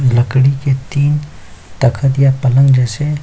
लकड़ी के तीन तखत या पलंग जैसे--